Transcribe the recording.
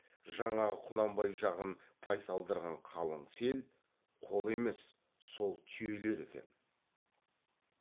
жаңағы құнанбай жағын тайсалдырған қалың сел қол емес сол түйелер екен